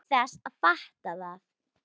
Án þess að fatta það.